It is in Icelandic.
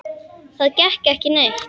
Það gekk ekki neitt.